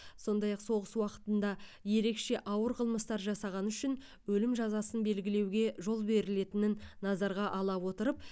сондай ақ соғыс уақытында ерекше ауыр қылмыстар жасағаны үшін өлім жазасын белгілеуге жол берілетінін назарға ала отырып